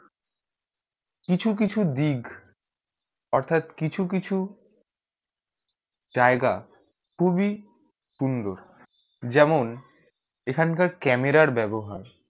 কিছু কিছু দিক অর্থাৎ কিছু কিছু জায়গা খুবই সুন্দর যেমন এইখান কার camera ব্যবহার